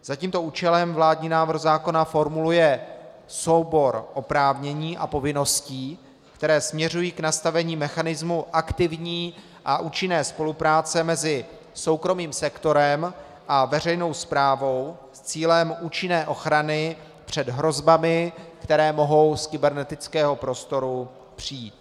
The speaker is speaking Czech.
Za tímto účelem vládní návrh zákona formuluje soubor oprávnění a povinností, které směřují k nastavení mechanismů aktivní a účinné spolupráce mezi soukromým sektorem a veřejnou správou s cílem účinné ochrany před hrozbami, které mohou z kybernetického prostoru přijít.